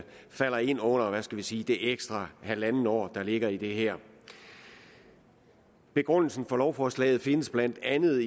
falder ind under hvad skal vi sige det ekstra halve år der ligger i det her begrundelsen for lovforslaget findes blandt andet